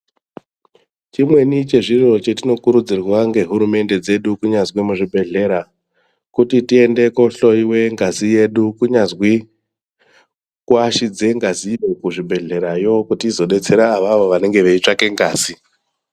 Chimweni chezviro chetinokurudzirwa ngehurumende dzedu kunyazwi muzvibhehlera kuti tiende kohlowiwe ngazi yedu kunyazwi kuashidze ngazi kuzvibhehlerayo kuti izodetsera avawo vanenge veitsvake ngazi.